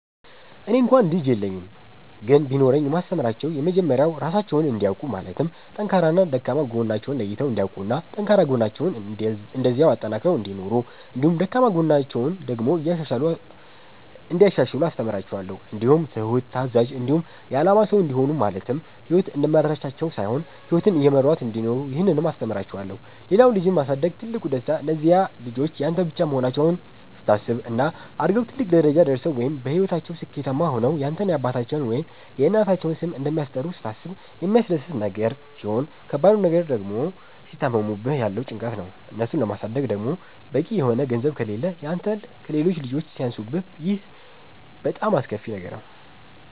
እኔ እንኳ ልጅ የለኝም ግን ቢኖረኝ የማስተምራቸዉ የመጀመሪያዉ ራሳቸዉን እንዲያዉቁ ማለትም ጠንካራና ደካማ ጎናቸዉን ለይተዉ እንዲያዉቁና ጠንካራ ጎናቸዉን እንደዚያዉ አጠንክረዉ እንዲኖሩ እንዲሁም ደካማ ጎናቸዉን ደግሞ እንያሻሽሉ አስተምራቸዋለሁ። እንዲሁም ትሁት፣ ታዛዥ፣ እንዲሆኑ የአላማ ሰዉ እንዲሆኑ ማለትም ህይወት እንደመራቻቸዉ ሳይሆን ህይወትን እየመሯት እንዲኖሩ ይህንንም አስተምራቸዋለሁ። ሌላዉ ልጅን ማሳደግ ትልቁ ደስታ እነዚያ ልጆች ያንተ ብቻ መሆናቸዉን ስታስብ፣ እና አድገዉ ትልቅ ደረጃ ወይም በህይወታቸዉ ስኬታማ ሆነዉ ያንተን የአባታቸዉን ወይም የእናታቸዉን ስም እንደሚያስጠሩ ስታስብ የሚያስደስት ነገር ሲሆን ከባድ ነገሩ ድግሞ ሲታመሙብህ ያለዉ ጭንቀት፣ እነሱን ለማሳደግ ደግሞ በቂ የሆነ ገንዘብ ከሌህ ያንተ ከሌሎች ልጆች ሲያንሱብህ ይሄ በጣም አስከፊ ነገር ነዉ።